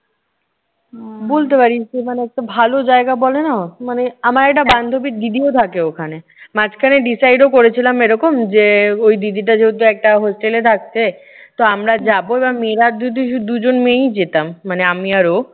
বলতে পারিস যে, মানে একটা ভালো জায়গা বলে না, মানে আমার একটা বান্ধবীর দিদিও থাকে ওখানে। মাঝখানে decide ও করেছিলাম এরকম যে ওই দিদিটা যদি একটা হোস্টেলে থাকছে, তো আমরা যাবো মেয়েরা শুধু দুজন মেয়েই যেতাম। মানে আমি আর ও।